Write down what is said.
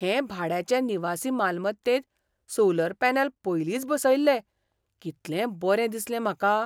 हे भाड्याचे निवासी मालमत्तेंत सोलर पॅनल पयलींच बसयल्ले. कितलें बरें दिसलें म्हाका!